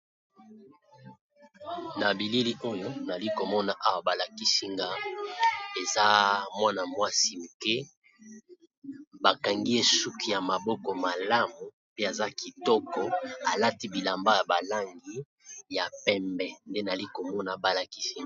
na bileli oyo nali komona awa balakisinga eza mwana mwasi moke bakangi esuki ya maboko malamu pe aza kitoko alati bilamba ya balangi ya pembe nde nali komona balakisinga